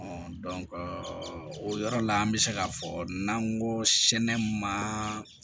o yɔrɔ la an bɛ se k'a fɔ n'an ko sɛnɛ ma